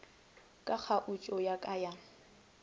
ka kgaotšo ya ka ya